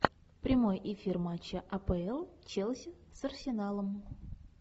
прямой эфир матча апл челси с арсеналом